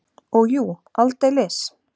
Og jú, aldeilis!